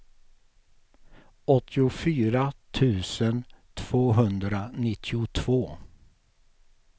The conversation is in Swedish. åttiofyra tusen tvåhundranittiotvå